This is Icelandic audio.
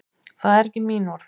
Það eru ekki mín orð.